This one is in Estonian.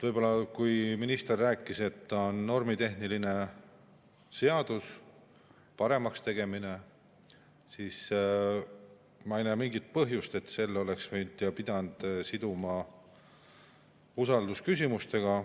Kui minister rääkis, et see on normitehniline seadus, paremaks tegemine, siis ma ei näe mingit põhjust, et selle oleks pidanud siduma usaldusküsimusega.